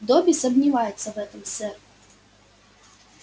добби сомневается в этом сэр